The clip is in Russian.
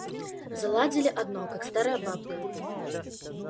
заладили одно как старая баба